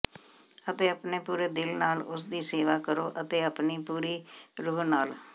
ਅਤੇ ਆਪਣੇ ਪੂਰੇ ਦਿਲ ਨਾਲ ਉਸ ਦੀ ਸੇਵਾ ਕਰੋ ਅਤੇ ਆਪਣੀ ਪੂਰੀ ਰੂਹ ਨਾਲ